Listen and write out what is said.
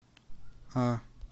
а